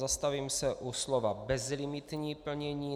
Zastavím se u slova bezlimitní plnění.